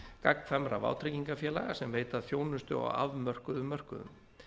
gagnkvæmra vátryggingafélaga sem veita þjónustu á afmörkuðum mörkuðum